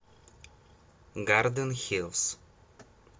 гарден хилс